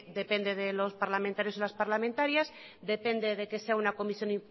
depende de los parlamentarios y las parlamentarias depende de que sea una comisión